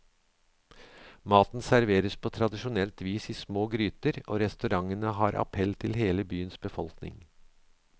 Maten serveres på tradisjonelt vis i små gryter, og restaurantene har appell til hele byens befolkning.